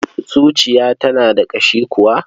Zuciya tana da ƙashi kuwa?